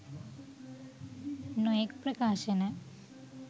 නොයෙක් ප්‍රකාශන